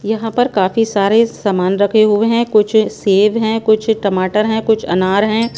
यहां पर काफी सारे सामान रखे हुए हैं कुछ सेव हैं कुछ टमाटर हैं कुछ अनार हैं।